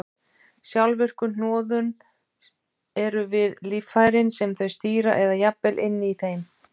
Sjálfvirku hnoðun eru við líffærin sem þau stýra eða jafnvel inni í þeim.